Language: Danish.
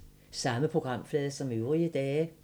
Samme programflade som øvrige dage